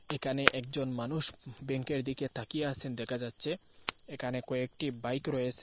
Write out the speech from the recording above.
একানে একজন মানুষ উম ব্যাঙ্কের দিকে তাকিয়ে আসেন দেখা যাচ্ছে একানে কয়েকটি বাইক রয়েসে ।